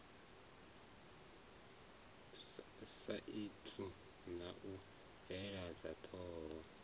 saintsi na u bveledza ṱho